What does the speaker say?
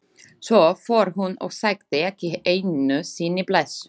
Svo fór hún og sagði ekki einu sinni bless.